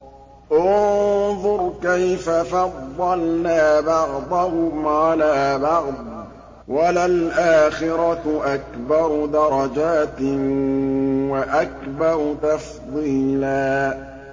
انظُرْ كَيْفَ فَضَّلْنَا بَعْضَهُمْ عَلَىٰ بَعْضٍ ۚ وَلَلْآخِرَةُ أَكْبَرُ دَرَجَاتٍ وَأَكْبَرُ تَفْضِيلًا